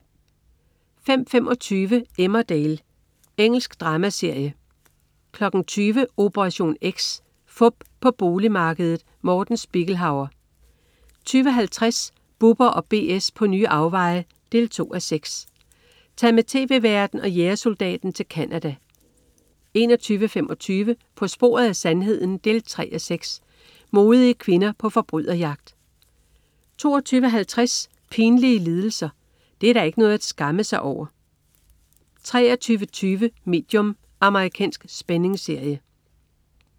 05.25 Emmerdale. Engelsk dramaserie 20.00 Operation X. Fup på boligmarkedet. Morten Spiegelhauer 20.50 Bubber & BS på nye afveje 2:6. Tag med tv-værten og jægersoldaten til Canada 21.25 På sporet af sandheden 3:6. Modige kvinder på forbryderjagt 22.50 Pinlige lidelser. Det er da ikke noget at skamme sig over! 23.20 Medium. Amerikansk spændingsserie